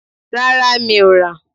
Rárá, mi ò rà.